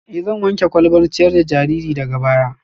Ee, zan wanke kwalbar ciyar da jariri daga baya